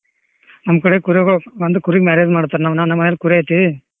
ನಮ್ ಕಡೆ ಕುರಿಗಳ್ ಅಂದ್ರ ಕುರಿ marriage ಮಾಡ್ತಾರ ನಮ್ ನಮ್ ಮನೇಲ್ ಕುರಿ ಐತಿ.